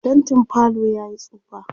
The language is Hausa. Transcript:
faintin falo yayi tsufa